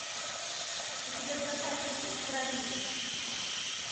у тебя в запасе есть проливы